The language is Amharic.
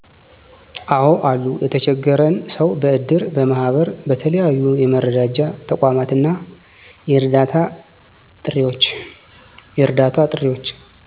አዎ አሉ የተቸገረን ሰዉ በእድር፣ በማህበር በተለያዩ የመረዳጃ ተቋማት እና የእርዳታ ጥሪዎች